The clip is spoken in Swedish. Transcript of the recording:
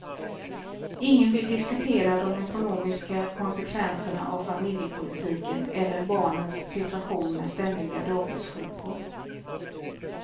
Ingen vill diskutera de ekonomiska konsekvenserna av familjepolitiken eller barnens situation med ständiga dagissjukor.